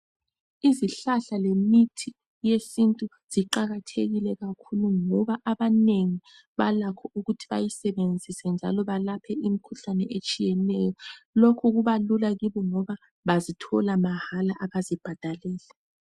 Izihlahla lemithi yesintu ziqakathekile kakhulu, ngoba abanengi balakho ukuthi bayisebenzise, njalo balaphe imikhuhlane, eminengi,,etshiyeneyo. Lokhu kubalula kubo, ngoba bazithola mahala. Kabazibhadaleli.